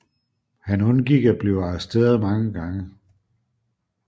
Han undgik at blive arresteret mange gange